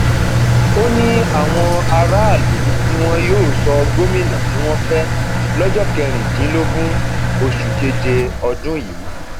ó ní àwọn aráàlú ni wọn yóò sọ gómìnà tí wọn fẹ lọjọ kẹrìndínlógún oṣù keje ọdún yìí